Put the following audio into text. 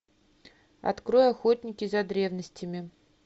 открой охотники за древностями